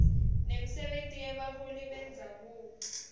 nemisebenti yebaholi bendzabuko